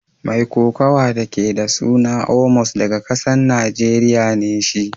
Mai kokawa da ke da suna Omos daga kasan Nijeriya ne shi.